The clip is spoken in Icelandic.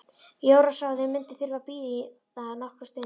Jóra sá að þau mundu þurfa að bíða nokkra stund.